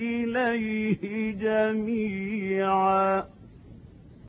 إِلَيْهِ جَمِيعًا